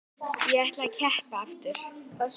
Ég ætla að keppa aftur.